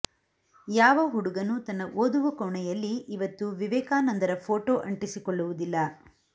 ಯಾವ ಹುಡುಗನೂ ತನ್ನ ಓದುವ ಕೋಣೆಯಲ್ಲಿ ಇವತ್ತು ವಿವೇಕಾನಂದರ ಫೋಟೋ ಅಂಟಿಸಿಕೊಳ್ಳುವುದಿಲ್ಲ